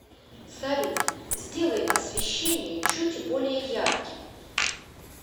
салют сделай освещение чуть более ярким